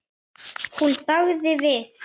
Hún þagði við.